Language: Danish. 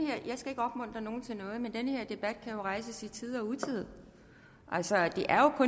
jeg nogen til noget men den her debat kan jo rejses i tide og utide altså det er jo kun